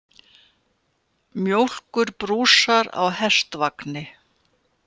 Mjólkurbrúsar á hestvagni.